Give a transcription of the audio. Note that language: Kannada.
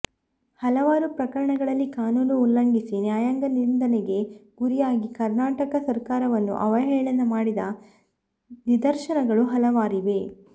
ಹಲವಾರು ಪ್ರಕರಣಗಳಲ್ಲಿ ಕಾನೂನು ಉಲ್ಲಂಘಿಸಿ ನ್ಯಾಯಾಂಗ ನಿಂಧನೆಗೆ ಗುರಿಯಾಗಿ ಕರ್ನಾಟಕ ಸರ್ಕಾರವನ್ನು ಅವಹೇಳನ ಮಾಡಿದ ನಿದರ್ಶನಗಳು ಹಲವಾರಿವೆ